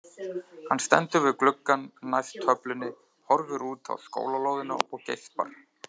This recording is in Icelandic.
Hann stendur við gluggann næst töflunni, horfir út á skólalóðina og geispar.